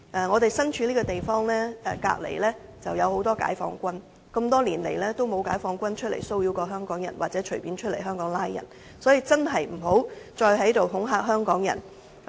我們身處這個地方隔鄰就有很多解放軍，他們多年來也沒有出來騷擾香港人或隨意在香港拘捕市民，所以真的不要再恐嚇香港人。